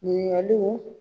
Ɲininkaliw